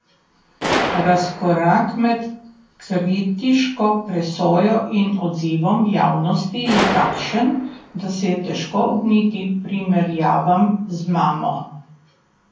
Razkorak med kritiško presojo in odzivom javnosti je takšen, da se je težko ogniti primerjavam z mamo!